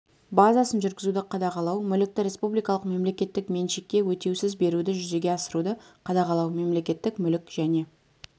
базасын жүргізуді қадағалау мүлікті республикалық мемлекеттік меншікке өтеусіз беруді жүзеге асыруды қадағалау мемлекеттік мүлік және